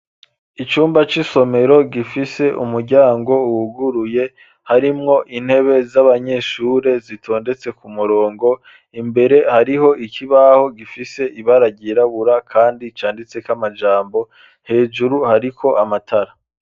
Icumba c'isomero gifise umuryango wuguruye harimwo intebe z'abanyeshure zitondetse ku murongo imbere hariho ikibaho gifise ibara ryirabura kandi canditseko amajambo hejuru hariko amatara.